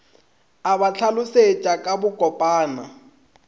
a ba hlalošetša ka bokopana